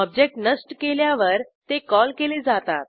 object नष्ट केल्यावर ते कॉल केले जातात